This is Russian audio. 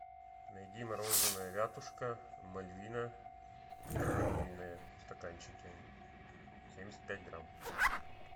найди мороженое вятушка мальвина ванильное в стаканчике семьдесят пять грамм